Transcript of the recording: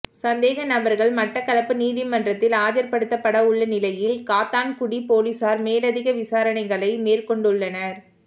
சந்தேக நபர்கள் மட்டக்களப்பு நீதிமன்றத்தில் ஆஜர்படுத்தப்படவுள்ள நிலையில் காத்தான்குடி பொலிஸார் மேலதிக விசாரணைகளை மேற்கொண்டுள்ளனர்